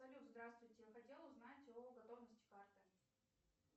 салют здравствуйте хотела узнать о готовности карты